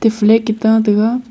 e flag e ta taiga.